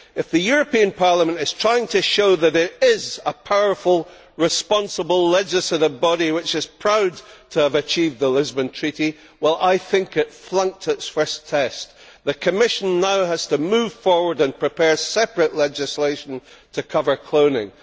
If the European Parliament is trying to show that it is a powerful, responsible legislative body which is proud to have achieved the Lisbon Treaty, I think it flunked its first test. The Commission now has to move forward and prepare separate legislation to cover cloning.